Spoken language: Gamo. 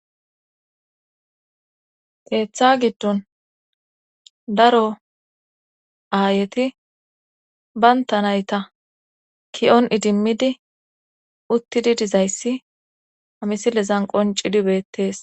keeththa giddon daro aayeti bayntanayta ki7on idimmidi uttidi dizayssi hamisilezan qonci dibettees